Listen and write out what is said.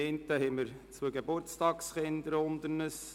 Zum einen haben wir zwei Geburtstagskinder unter uns: